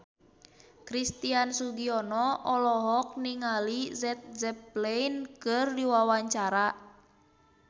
Christian Sugiono olohok ningali Led Zeppelin keur diwawancara